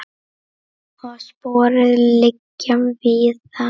Og sporin liggja víða.